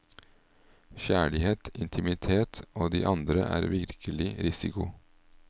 Kjærlighet, intimitet og de andre er virkelig risiko.